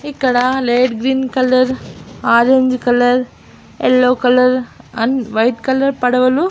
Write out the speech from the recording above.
ఇక్కడ light green colour orange colour yellow colour and white colour పడవలు --